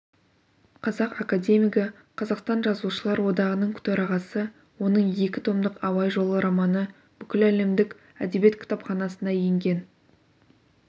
қазақ академигі қазақстан жазушылар одағының төрағасы оның екі томдық абай жолы романы бүгіләлемдік әдебиет кітапханасына енген